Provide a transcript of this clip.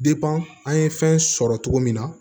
an ye fɛn sɔrɔ cogo min na